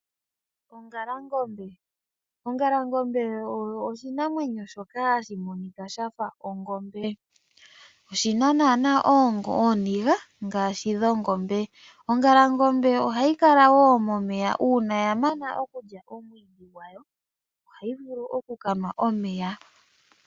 Ongalangombe oyo oshinamwenyo shoka hashi monika shafa ongombe oshina nana ooniga ngaashi dhongombe. Ongalangombe ohayi kala woo momeya uuna yamana okulya omwiidhi gwawo ohayi vulu okukanwa omeya.